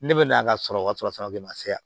Ne bɛ na ka sɔrɔ ka sɔrɔ de ma se yan